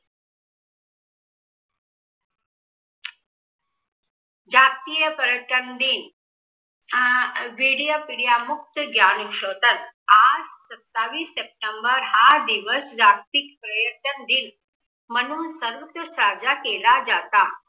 जागतिय पर्यटन दिन अं आज सत्तावीस सप्टेंबर हा दिवस जागतिक पपर्यटन म्हणून सर्वत्र साजरा केला जाता.